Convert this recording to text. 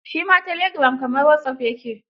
Shi ma telegiram kamar wasop ya ke.